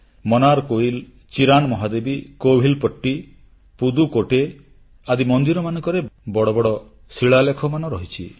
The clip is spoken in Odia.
ମନାର କୋୟିଲ ଟରାନ୍ ମହାଦେବୀ କୋଭିଲପଟ୍ଟି ପୁଦୁକୋଟ୍ଟୈ ଆଦି ମନ୍ଦିରମାନଙ୍କର ବଡ଼ ବଡ଼ ଶିଳାଲେଖ ମାନ ରହିଛି